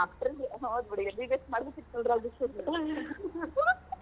ಹೌದ್ ಬಿಡ್ .